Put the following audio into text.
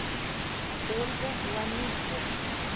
ольга ломидзе